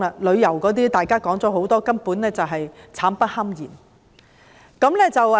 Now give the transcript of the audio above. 旅遊業方面，大家說了很多，根本就是苦不堪言。